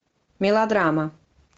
мелодрама